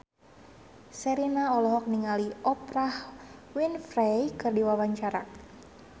Sherina olohok ningali Oprah Winfrey keur diwawancara